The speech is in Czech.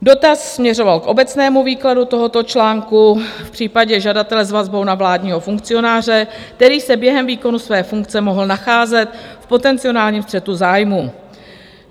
Dotaz směřoval k obecnému výkladu tohoto článku v případě žadatele s vazbou na vládního funkcionáře, který se během výkonu své funkce mohl nacházet v potenciálním střetu zájmů.